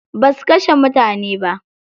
Basu kashe mutane ba.